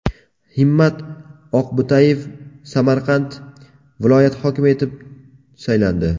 Himmat Oqbo‘tayev Samarqand viloyati hokimi etib saylandi.